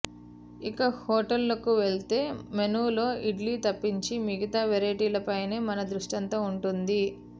ఇక హోటల్కు వెళితే మెనూలో ఇడ్లీ తప్పించి మిగతా వెరైటీలపైనే మన దృష్టంతా ఉంటుంది